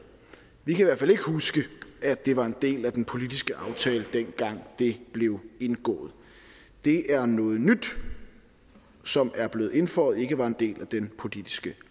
vi kan i hvert fald ikke huske at det var en del af den politiske aftale dengang det blev indgået det er noget nyt som er blevet indføjet ikke var en del af den politiske